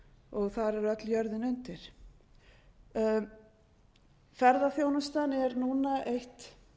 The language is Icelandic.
og þar er öll jörðin undir ferðaþjónustan er núna eitt